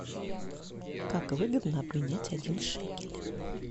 как выгодно обменять один шекель